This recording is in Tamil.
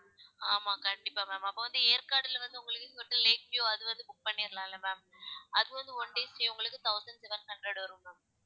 ஆமா கண்டிப்பா ma'am அப்ப வந்து ஏற்காடுல வந்து உங்களுக்கு ஹோட்டல் லேக் வியுவ் அது வந்து book பண்ணிடலாம் இல்ல ma'am அது வந்து one day stay உங்களுக்கு thousand seven hundred வரும் ma'am